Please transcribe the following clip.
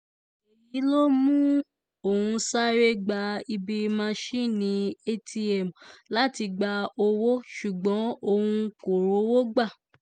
èyí ló mú òun sáré gba ibi másinni atm láti gba owó ṣùgbọ́n òun kò rówó gbà